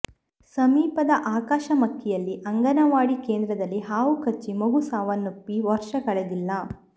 ಸಮೀಪದ ಆಕಾಶ ಮಕ್ಕಿಯಲ್ಲಿ ಅಂಗನವಾಡಿ ಕೇಂದ್ರದಲ್ಲಿ ಹಾವು ಕಚ್ಚಿ ಮಗು ಸಾವನ್ನಪ್ಪಿ ವರ್ಷ ಕಳೆದಿಲ್ಲ